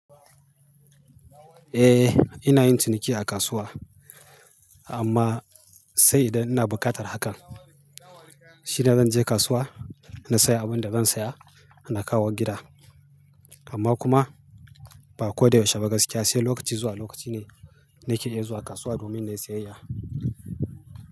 Eh ina yin ciniki a kasuwa amma sai idan ina buƙatar hakan shine zan je kasuwa na saya abin da zan saya na kawo gida. Amma kuma ba ko da yaushe ba gaskiya sai lokaci zuwa lokaci ne nake iya zuwa kasuwa domin nayi siyayya.